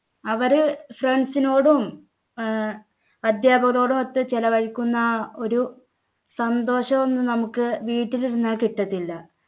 അവര് friends നോടും ആഹ് അധ്യാപകരോടും ഒത്തു ചെലവഴിക്കുന്ന ആ ഒരു സന്തോഷം ഒന്നും നമുക്ക് വീട്ടിലിരുന്നാൽ കിട്ടത്തില്ല